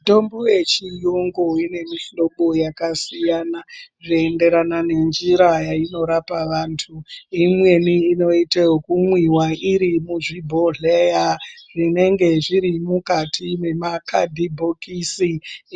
Mitambo yechiyungu ine mihlobo yakasiyana inoenderana nenjira yainorapa vantu. Imweni inoita ekumwiwa iri muzvibhodhleya zvinenge zviri mukati mwemakhadhibhokisi